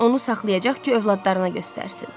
Onu saxlayacaq ki, övladlarına göstərsin.